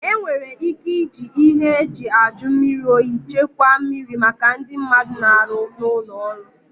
E nwere ị́ké ịji ịhe eji ajụ mmiri oyi chekwaa mmiri maka ndị mmadụ na-arụ n'ụlọ ọrụ.